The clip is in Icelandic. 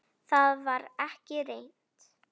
Það var ekki reynt.